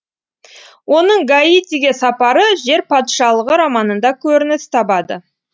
оның гаитиге сапары жер патшалығы романында көрініс табады